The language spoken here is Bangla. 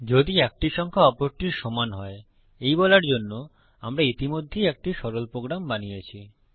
যদি একটি সংখ্যা অপরটির সমান হয় এই বলার জন্য আমরা ইতিমধ্যেই একটি সরল প্রোগ্রাম বানিয়েছি